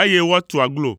eye woatu aglo.